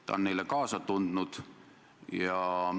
Ta on neile kaasa tundnud.